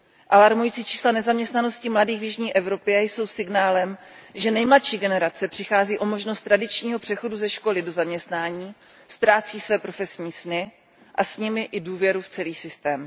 Alarmující čísla nezaměstnanosti mladých v jižní Evropě jsou signálem, že nejmladší generace přichází o možnost tradičního přechodu ze školy do zaměstnání, ztrácí své profesní sny a s nimi i důvěru v celý systém.